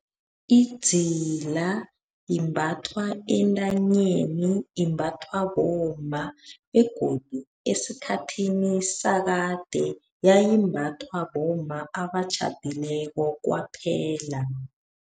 Idzila imbathwa entanyeni. Imbathwa bomma, begodu esikhathini sakade yayimbathwa bomma abatjhadileko kwaphela.